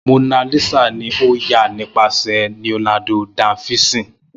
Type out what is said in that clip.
Mona Lisa ni o ya nipasẹ Leonardo Da Vinci